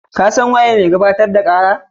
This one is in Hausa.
Kun san waye mai gabatar da kara?